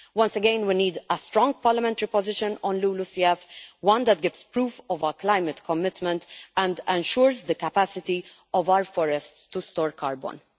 Once again we need a strong parliamentary position on LULUCF one that gives proof of our climate commitment and ensures the capacity of our forests to store carbon.